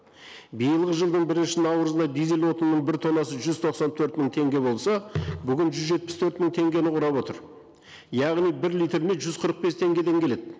биылғы жылдың бірінші наурызында дизель отынының бір тоннасы жүз тоқсан төрт мың теңге болса бүгін жүз жетпіс төрт мың теңгені құрап отыр яғни бір литріне жүз қырық бес теңгеден келеді